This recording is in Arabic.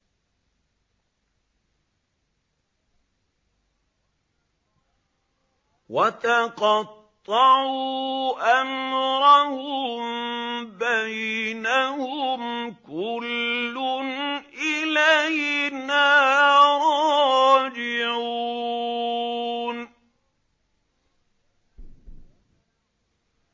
وَتَقَطَّعُوا أَمْرَهُم بَيْنَهُمْ ۖ كُلٌّ إِلَيْنَا رَاجِعُونَ